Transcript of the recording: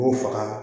K'u faga